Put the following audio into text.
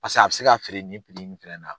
Paseke a bɛ se k'a feere nin in fana na.